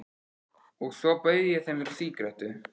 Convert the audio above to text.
Og svo bauð ég þeim sígarettu.